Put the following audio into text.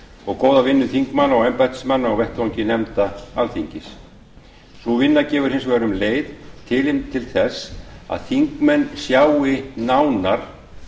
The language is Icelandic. og góða vinnu þingmanna og embættismanna á vettvangi nefnda alþingis sú vinna gefur hins vegar um leið tilefni til þess að þingmenn sjái nánar